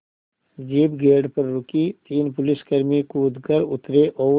jeep gate पर रुकी तीन पुलिसकर्मी कूद कर उतरे और